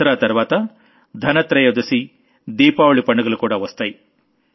దసరా తర్వాత ధన త్రయోదశి దీపావళి పండుగలు కూడా వస్తాయి